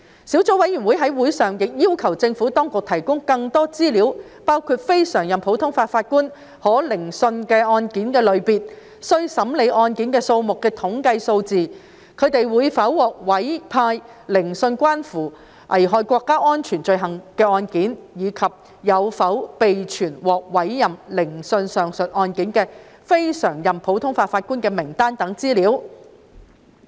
小組委員會在會上亦要求政府當局提供更多資料：包括非常任普通法法官可聆訊案件類別、須審理案件數目的統計數字、他們會否獲委派聆訊關乎危害國家安全罪行的案件，以及有否備存獲委派聆訊上述案件的非常任普通法法官的名單等資料。